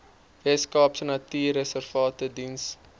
weskaapse natuurreservate diens